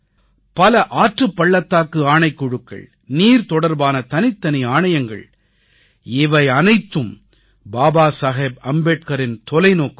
பல ஆற்றுப் பள்ளத்தாக்கு ஆணைக்குழுக்கள் நீர்தொடர்பான தனித்தனி ஆணையங்கள் இவையனைத்தும் பாபா சாஹேப் அம்பேத்கரின் தொலைநோக்குத் தான்